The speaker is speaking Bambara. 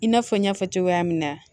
I n'a fɔ n y'a fɔ cogoya min na